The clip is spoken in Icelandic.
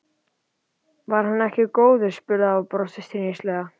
Var hann ekki góður? spurði afi og brosti stríðnislega.